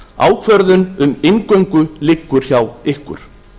ákvörðun um inngöngu liggur hjá ykkur